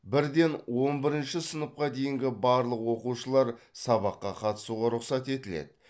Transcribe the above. бірден он бірінші сыныпқа дейінгі барлық оқушылар сабаққа қатысуға рұқсат етіледі